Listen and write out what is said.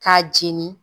K'a jeni